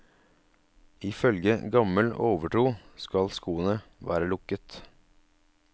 Ifølge gammel overtro skal skoene være lukket.